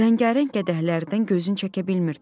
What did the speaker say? rəngarəng qədəhlərdən gözünü çəkə bilmirdi.